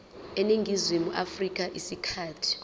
eningizimu afrika isikhathi